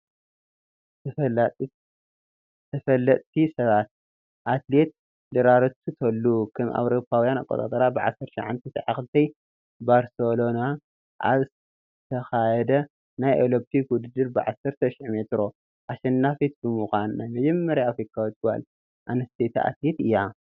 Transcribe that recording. ተፈለጥቲ ሰባት፡- አትሌት ደራረቱ ቱሉ ከም አውሮፓውያን አቆፃፅራ ብ1992 ባርሴሎና ኣብ ዝተኻየ ናይ ኦሎምፒክ ውድድር ብ10 ሺሕ ሜትር አሸናፊት ብምዃን ናይ መጀመሪያ አፍሪካዊት ጓል ኣነስተይቲ አትሌት እያ።